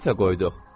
Neçə dəfə qoyduq?